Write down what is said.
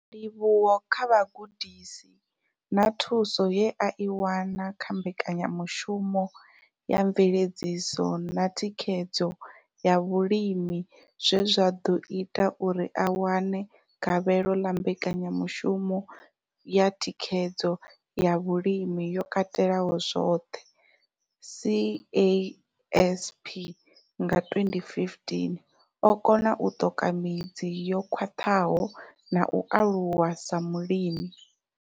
Ndivhuwo kha vhugudisi na thuso ye a i wana kha Mbekanya mushumo ya Mveledziso na Thikhedzo ya Vhalimi zwe zwa ḓo ita uri a wane gavhelo ḽa Mbekanya mushumo ya Thikhedzo ya Vhulimi yo Katelaho zwoṱhe, CASP, nga 2015, o kona u ṱoka midzi yo khwaṱhaho na u aluwa sa mulimi.